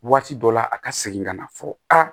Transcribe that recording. Waati dɔ la a ka segin ka na fɔ a